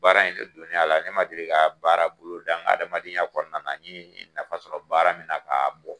Baara in ne donen a la , ne ma deli ka baara bolo da n ka adamadenya kɔnɔna na n ye nafa sɔrɔ baara min na k'a bɔ!